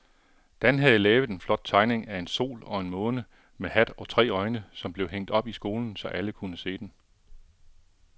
Dan havde lavet en flot tegning af en sol og en måne med hat og tre øjne, som blev hængt op i skolen, så alle kunne se den.